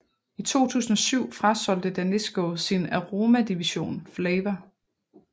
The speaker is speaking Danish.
I 2007 frasolgte Danisco sin aromadivision Flavour